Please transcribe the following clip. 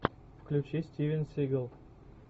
включи стивен сигал